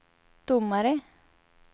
domare